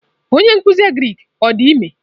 Onye nkuzi agrik ọ dị ime?